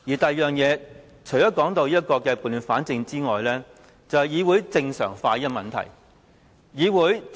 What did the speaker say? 第二，除了撥亂反正外，就是議會正常化的問題。